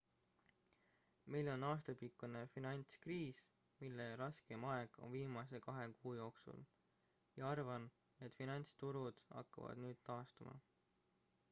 meil on aastapikkune finantskriis mille raskeim aeg oli viimase kahe kuu jooksul ja arvan et finantsturud hakkavad nüüd taastuma